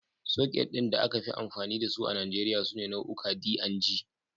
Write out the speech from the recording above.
Soket ɗin da aka fi amfani da su a Nijeriya sune nau'uka D da G.